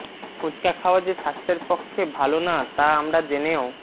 ফুচকা খাওয়া যে স্বাস্থ্যের পক্ষে ভাল না তা আমরা জেনেও